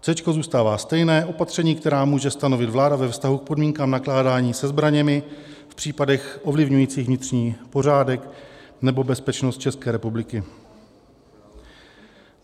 Céčko zůstává stejné, opatření, která může stanovit vláda ve vztahu k podmínkám nakládání se zbraněmi v případech ovlivňujících vnitřní pořádek nebo bezpečnost České republiky.